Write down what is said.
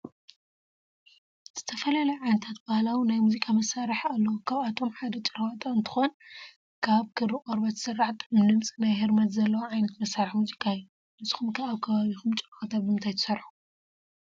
ዝተፈላለዩ ዓይነታት ባህላዊ ናይ ሙዚቃ መሳሪሒ አለዎ ካብአቶም ሓደ ጭራዋጣ እንተኮን ካበ ክሪ ቆርቦት ዝስራሕ ጥዑም ድምፂ ናይ ህርመት ዘለዎ ዓይነት መሳሪሒ ሙዚቃ እዩ። ንስኩም ከ አብ ከባቢኩም ጭራዋጣ በምንታይ ትሰርሑ?